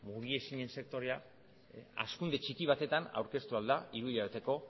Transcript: mugiezinen sektorea hazkunde txiki batetan aurkeztu ahal da hiruhilabeteko